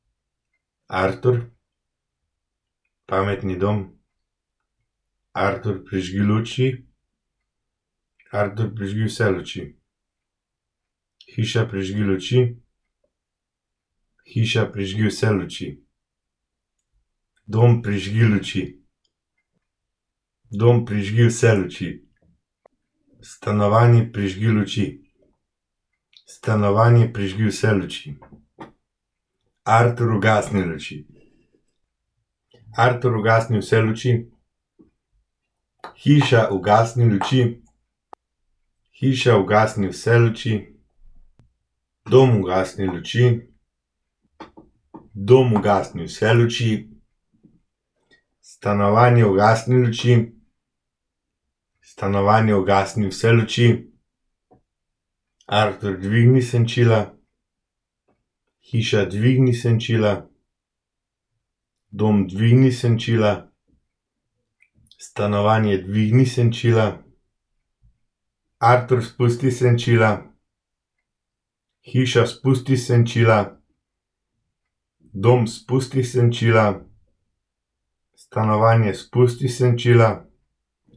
Artur. Pametni dom. Artur, prižgi luči. Artur, prižgi vse luči. Hiša, prižgi luči. Hiša, prižgi vse luči. Dom, prižgi luči. Dom, prižgi vse luči. Stanovanje, prižgi luči. Stanovanje, prižgi vse luči. Artur, ugasni luči. Artur, ugasni vse luči. Hiša, ugasni luči. Hiša, ugasni vse luči. Dom, ugasni luči. Dom, ugasni vse luči. Stanovanje, ugasni luči. Stanovanje, ugasni vse luči. Artur, dvigni senčila. Hiša, dvigni senčila. Dom, dvigni senčila. Stanovanje, dvigni senčila. Artur, spusti senčila. Hiša, spusti senčila. Dom, spusti senčila. Stanovanje, spusti senčila.